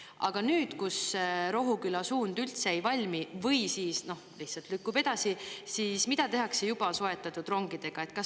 Aga nüüd, kus Rohuküla suund üldse ei valmi või siis lihtsalt lükkub edasi, siis mida tehakse juba soetatud rongidega?